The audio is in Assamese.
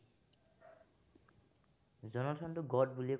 জনাৰ্থনটোক God বুলিয়েই ।